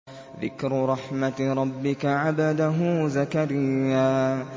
ذِكْرُ رَحْمَتِ رَبِّكَ عَبْدَهُ زَكَرِيَّا